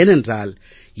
ஏனென்றால்